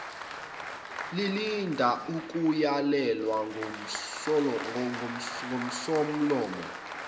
lilinda ukuyalelwa ngusomlomo